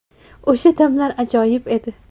O‘sha damlar ajoyib edi.